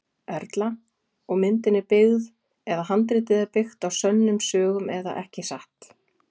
Erla: Og myndin er byggð eða handritið er byggt á sönnum sögum eða ekki satt?